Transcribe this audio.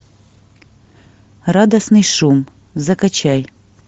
радостный шум закачай